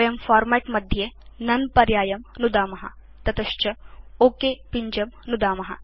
वयं फॉर्मेट् मध्ये नोने पर्यायं नुदाम ततश्च ओक पिञ्जं नुदाम